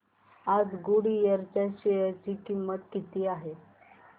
आज गुडइयर च्या शेअर ची किंमत किती आहे